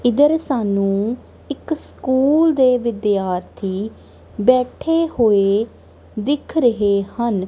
ਇਧਰ ਸਾਨੂੰ ਇੱਕ ਸਕੂਲ ਦੇ ਵਿਦਿਆਰਥੀ ਬੈਠੇ ਹੋਏ ਦਿਖ ਰਹੇ ਹਨ।